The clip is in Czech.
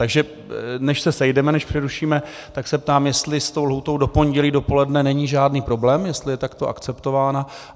Takže než se sejdeme, než přerušíme, tak se ptám, jestli s tou lhůtou do pondělí dopoledne není žádný problém, jestli je takto akceptována.